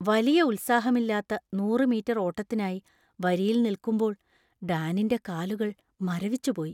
വലിയ ഉത്സാഹമില്ലാത്ത നൂറ് മീറ്റർ ഓട്ടത്തിനായി വരിയിൽ നിൽക്കുമ്പോൾ ഡാനിന്‍റെ കാലുകൾ മരവിച്ചുപോയി.